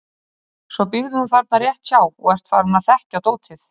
Svo býrðu nú þarna rétt hjá og ert farinn að þekkja dótið.